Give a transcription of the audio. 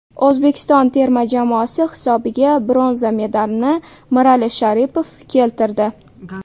O‘zbekiston terma jamoasi hisobiga bronza medalini Mirali Sharipov keltirdi.